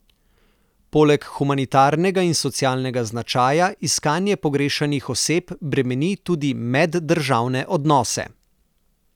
Poleg humanitarnega in socialnega značaja iskanje pogrešanih oseb bremeni tudi meddržavne odnose.